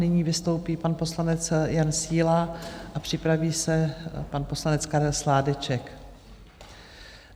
Nyní vystoupí pan poslanec Jan Síla a připraví se pan poslanec Karel Sládeček.